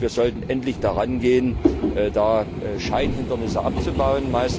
Und wir sollten endlich daran gehen, Scheinhindernisse abzubauen.